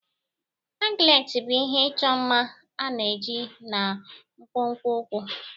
Anklet bụ ihe ịchọ mma a na-eyi na nkwonkwo ụkwụ.